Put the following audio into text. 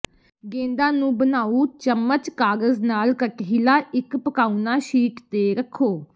ਗੇਂਦਾਂ ਨੂੰ ਬਣਾਉ ਚਮਚ ਕਾਗਜ਼ ਨਾਲ ਕਟਹਿਲਾ ਇੱਕ ਪਕਾਉਣਾ ਸ਼ੀਟ ਤੇ ਰੱਖੋ